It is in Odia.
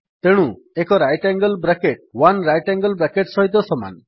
ତେଣୁ ଏକ right angle bracket 1 right angle bracket ସହିତ ସମାନ